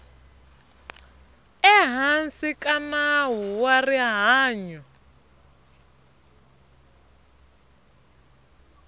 ehansi ka nawu wa rihanyu